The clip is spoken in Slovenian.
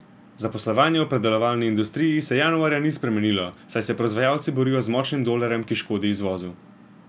Zaposlovanje v predelovalni industriji se januarja ni spremenilo, saj se proizvajalci borijo z močnim dolarjem, ki škodi izvozu.